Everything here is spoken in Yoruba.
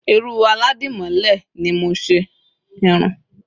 irun Aladimole ni mo nse